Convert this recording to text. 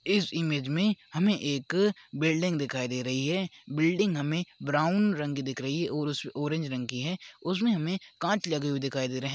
इस इमेज में हमें एक बिल्डिंग दिखाई दे रही है बिल्डिंग हमें ब्राउन रंग दिख रही है और-उस ऑरेंज रंग की है उसमे हमें कांच लगे हुए दिखाई दे रहे है।